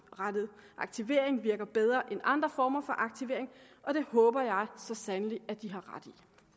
aktivering virker bedre end andre former for aktivering og det håber jeg så sandelig at de har ret